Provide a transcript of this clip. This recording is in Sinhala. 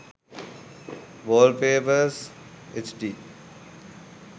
wallpapers hd